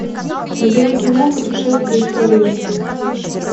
набери кино путешествие из парижа